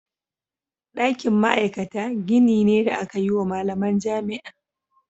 Ɗakin ma'aikata gini ne da aka yi wa malaman jami'a.